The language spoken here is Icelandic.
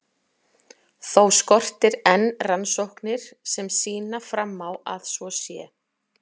Þó skortir enn rannsóknir sem sýna fram á að svo sé.